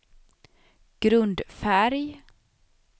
grundfärg